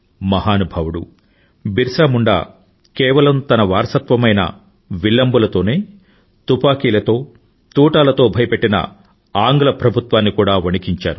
మహానుభావుడు బిర్సా ముండా కేవలం తన వారసత్వమైన విల్లంబులతోనే తుపాకీలతో తూటాలతో భయపెట్టిన ఆంగ్ల ప్రభుత్వాన్ని కూడా వణికించారు